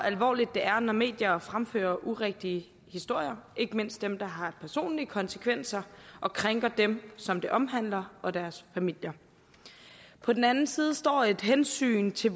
alvorligt det er når medier fremfører urigtige historier ikke mindst dem der har personlige konsekvenser og krænker dem som de omhandler og deres familier på den anden side står et hensyn til